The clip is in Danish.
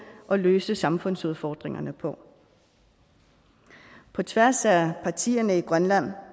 og løse samfundsudfordringerne på på tværs af partierne i grønland